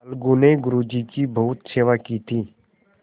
अलगू ने गुरु जी की बहुत सेवा की थी